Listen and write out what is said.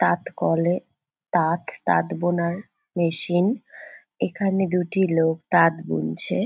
তাঁত কলে তাঁত তাঁত বোনার মেশিন এখানে দুটি লোক তাঁত বুনছে।